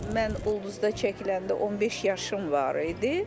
Mən Ulduzda çəkiləndə 15 yaşım var idi.